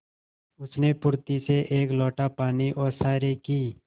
उसने फुर्ती से एक लोटा पानी ओसारे की